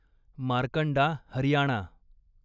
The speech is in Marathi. मार्कंडा हरियाणा